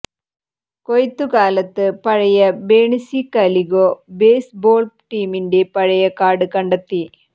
കൊയ്ത്തു കാലത്ത് പഴയ ബേണിസി കാലിഗോ ബേസ്ബോൾ ടീമിന്റെ പഴയ കാർഡ് കണ്ടെത്തി